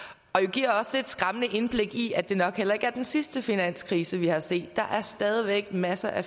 giver også et skræmmende indblik i at det nok heller ikke er den sidste finanskrise vi har set der er stadig væk masser af